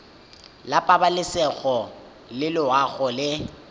la pabalesego le loago e